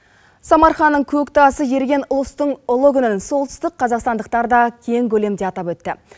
самарқанның көк тасы еріген ұлыстың ұлы күнін солтүстік қазақстандықтар да кең көлемде атап өтті